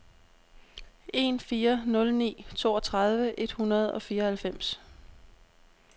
en fire nul ni toogtredive et hundrede og fireoghalvfems